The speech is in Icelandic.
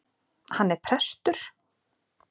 Hann er prestur!